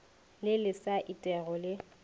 le le sa etego le